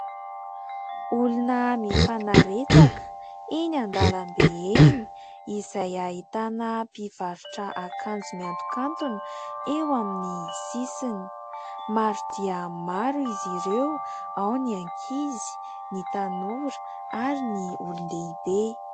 Olona mifanaretsaka eny an-dalambe eny, izay ahitana mpivarotra akanjo miantokantona eo amin'ny sisiny, maro dia maro izy ireo, ao ny ankizy, ny tanora ary ny olon-dehibe.